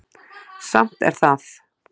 Samt er það